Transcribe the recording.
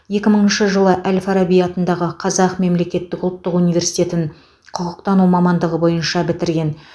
екі мыңшы жылы әл фараби атындағы қазақ мемлекеттік ұлттық университетін құқықтану мамандығы бойынша бітірген